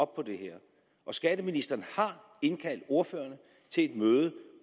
på det her og skatteministeren har indkaldt ordførerne til et møde